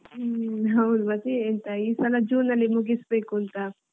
ಹ್ಮ್ ಹೌದು ಮತ್ತೆ ಎಂತ ಈ ಸಲ ಜೂನ್ ಅಲ್ಲಿ ಮುಗಿಸ್ಬೇಕುಂತಾ.